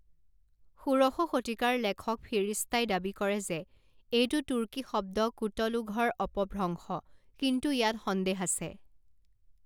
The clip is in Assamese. ষোড়শ শতিকাৰ লেখক ফিৰিস্তাই দাবী কৰে যে এইটো তুৰ্কী শব্দ কুটলুঘৰ অপভ্ৰংশ, কিন্তু ইয়াত সন্দেহ আছে।